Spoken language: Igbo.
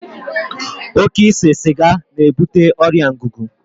Oké ise siga na ebute ọrịa ngugu